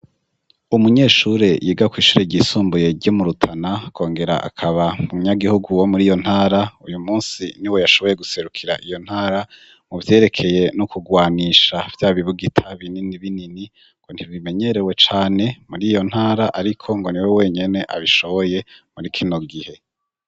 Umunyeshure yiga kw'ishure ryisumbuye ryo mu rutana akongera akaba umunyagihugu wo muri iyo ntara, uyu munsi ni we yashoboye guserukira iyo ntara mu vyerekeye n'ukugwanisha vya bibugita binini binini ngo ntibimenyerewe cane muri iyo ntara ariko ngo ni we wenyene abishoboye muri kino gihe.